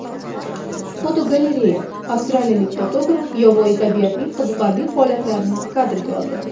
Fotogalereya: Avstriyalik fotograf yovvoyi tabiatning qiziqarli holatlarini kadrga oldi.